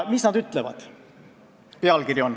Mis nad seal ütlevad? "